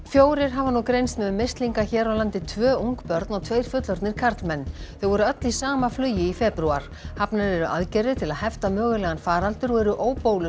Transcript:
fjórir hafa nú greinst með mislinga hér á landi tvö ung börn og tveir fullorðnir karlmenn þau voru öll í sama flugi í febrúar hafnar eru aðgerðir til að hefta mögulegan faraldur og eru